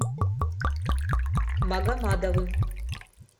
магомадовым